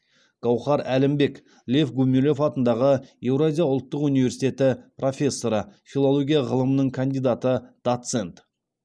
гауһар әлімбек лев гумилев атындағы еуразия ұлттық университеті профессоры филология ғылымының кандидаты доцент